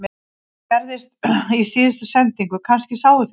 Þetta gerðist í síðustu sendingu, kannski sáuð þið það